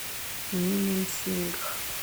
мименсингх